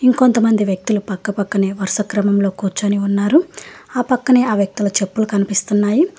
ఇంకొంతమంది వ్యక్తులు పక్కపక్కనే వరుస క్రమంలో కూర్చొని ఉన్నారు ఆ పక్కనే ఆ వ్యక్తుల చెప్పులు కనిపిస్తున్నాయి.